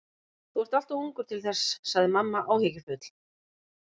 Þú ert allt of ungur til þess sagði mamma áhyggjufull.